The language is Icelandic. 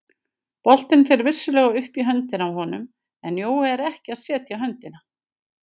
Boltinn fer vissulega upp í höndina á honum en Jói er ekki að setja höndina.